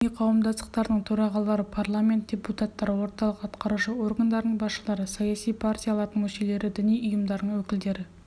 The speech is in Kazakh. этно-мәдени қауымдастықтардың төрағалары парламент депутаттары орталық атқарушы органдардың басшылары саяси партиялардың мүшелері діни ұйымдардың өкілдері